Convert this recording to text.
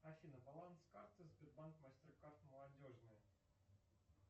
афина баланс карты сбербанк мастеркард молодежная